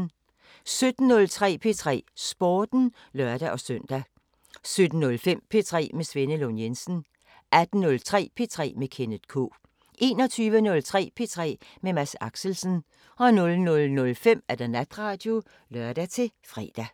17:03: P3 Sporten (lør-søn) 17:05: P3 med Svenne Lund Jensen 18:03: P3 med Kenneth K 21:03: P3 med Mads Axelsen 00:05: Natradio (lør-fre)